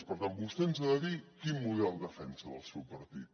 per tant vostè ens ha de dir quin model defensa el seu partit